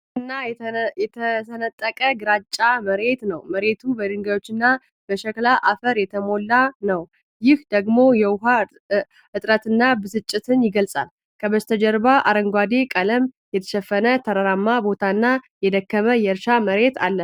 የደረቀና የተሰነጠቀ ግራጫ መሬት ነው። መሬቱ በድንጋዮችና በሸክላ አፈር የተሞላ ነው፣ ይህ ደግሞ የውሃ እጥረትንና ብስጭትን ይገልጻል። ከበስተጀርባ በአረንጓዴ ቀለም የተሸፈነ ተራራማ ቦታና የደከመ የእርሻ መሬት አለ።